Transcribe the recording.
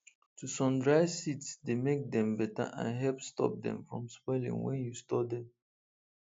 to sun dry seeds dey make dem better and help stop dem from spoiling when you store dem